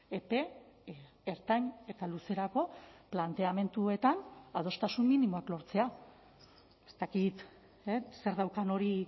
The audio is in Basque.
epe ertain eta luzerako planteamenduetan adostasun minimoak lortzea ez dakit zer daukan hori